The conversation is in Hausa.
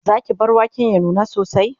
Zaki bar waken ya nuna sosai?